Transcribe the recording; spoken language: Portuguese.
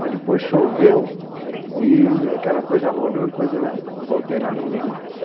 Mas depois choveu, e aquela coisa rodou, e depois eu voltei lá e não vi mais.